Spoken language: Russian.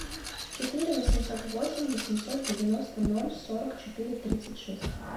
четыре восемьсот восемь восемьсот девяносто ноль сорок четыре тридцать шесть